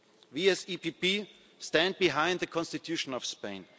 question. We as the EPP stand behind the Constitution